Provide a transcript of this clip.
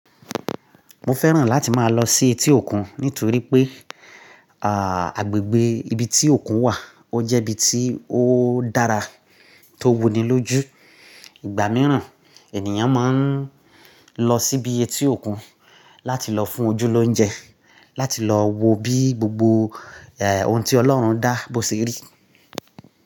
Mo fẹ́ràn láti máa lọ sí etí òkun nítorí pé, à, agbègbè ibi tí òkun wà ó jẹ́ ibi tí ó dára tó wuni lójú. Igba mìíràn ènìyàn man lọ síbi etí òkun láti lọ fún ojúlójú, láti lọ wo bí gbogbo, e, ohun tí Ọlọ́run dá bó ṣe rí.